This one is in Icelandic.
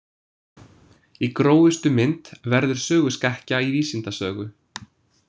Í grófustu mynd verður söguskekkja í vísindasögu.